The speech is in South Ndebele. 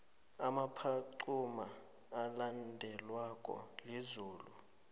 umaphaxuma ulandelwa lizulu